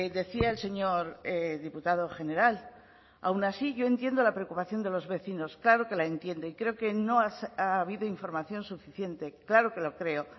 decía el señor diputado general aun así yo entiendo la preocupación de los vecinos claro que la entiendo y creo que no ha habido información suficiente claro que lo creo